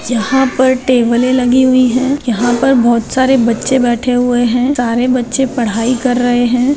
यहाँ पर टेबलें लगी हुई है यहाँ पर बहुत सारे बच्चे बैठे हुए है सारे बच्चे पढ़ाई कर रहे हैं।